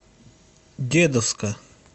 дедовска